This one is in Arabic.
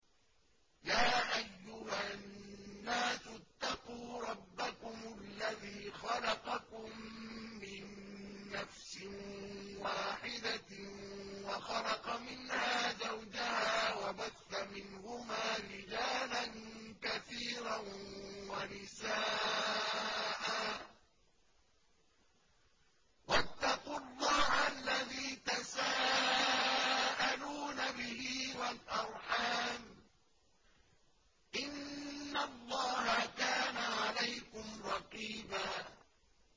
يَا أَيُّهَا النَّاسُ اتَّقُوا رَبَّكُمُ الَّذِي خَلَقَكُم مِّن نَّفْسٍ وَاحِدَةٍ وَخَلَقَ مِنْهَا زَوْجَهَا وَبَثَّ مِنْهُمَا رِجَالًا كَثِيرًا وَنِسَاءً ۚ وَاتَّقُوا اللَّهَ الَّذِي تَسَاءَلُونَ بِهِ وَالْأَرْحَامَ ۚ إِنَّ اللَّهَ كَانَ عَلَيْكُمْ رَقِيبًا